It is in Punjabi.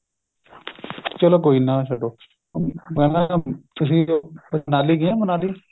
ਚਲੋ ਕੋਈ ਨਾ ਛੱਡੋ ਤੁਸੀਂ ਮਨਾਲੀ ਗਏ ਹੋ ਮਨਾਲੀ